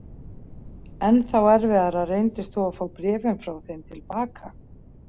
Ennþá erfiðara reyndist þó að fá bréfin frá þeim til baka.